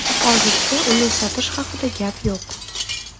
Hozircha uni sotish haqida gap yo‘q”.